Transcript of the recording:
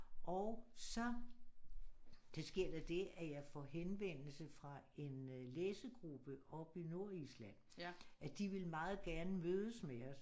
Og så da sker der det at jeg får henvendelse fra en læsegruppe oppe i Nordisland de ville meget gerne mødes med os